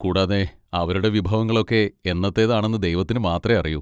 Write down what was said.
കൂടാതെ, അവരുടെ വിഭവങ്ങളൊക്കെ എന്നത്തേതാണെന്ന് ദൈവത്തിന് മാത്രേ അറിയൂ.